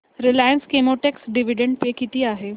Reliance Chemotex dividend pay किती आहे